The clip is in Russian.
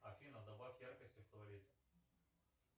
афина добавь яркости в туалете